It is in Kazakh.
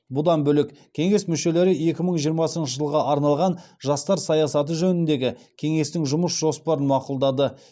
бұдан бөлек кеңес мүшелері екі мың жиырмасыншы жылға арналған жастар саясаты жөніндегі кеңестің жұмыс жоспарын мақұлдады